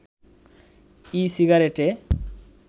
ই-সিগারেটে